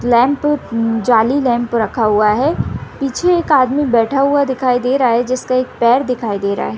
Lamp जाली lamp रखा हुआ है पीछे एक आदमी बैठा हुआ दिखाई दे रहा है जिसका एक पैर दिखाई दे रहा है।